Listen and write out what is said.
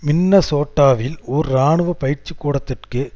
மின்னசோட்டாவில் ஓர் இராணுவ பயிற்சிக்கூடத்திற்கு